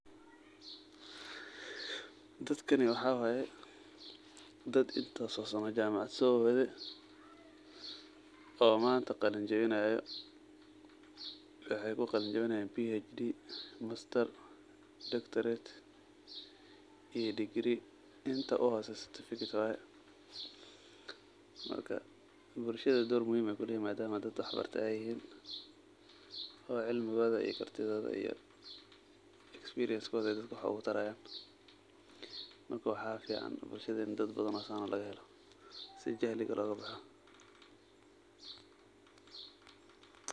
Dakani waxaa waay, dad intaas oo sano jaamacad soo waday oo manta qalin jibinaayo. Waxaay ku qalin jibnaayaan phd, masters, doctorate iyo degree. inta u hooseyso certificatecs]waay. Marka, bulshada door muhiim ah ayaay kuleeyihiin maadaama dad waxbartay ay yihiin oo cilmigooda iyo cartidooda iyo expiriensigooda dadka wax ugu tarayaan. Marka, waxaa ficaan bulshada in dad badan oo saan ah laga helo.